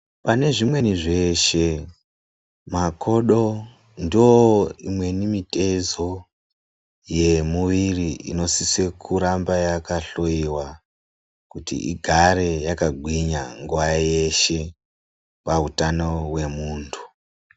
Pane zvimweni zveshe makodo ndoo imweni mitezo yemuviri inosise kuramba yakahloyiwa kuti igare yakagwinya nguva yeshe pautano hwemuntu.